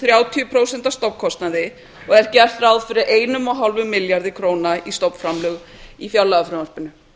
þrjátíu prósent af stofnkostnaði og er gert ráð fyrir einum og hálfum milljarði króna í stofnframlög í fjárlagafrumvarpinu